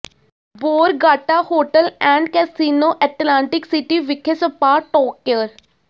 Borgata hotel and casino Atlantic City ਵਿਖੇ spa ਟੋਕਕੇਅਰ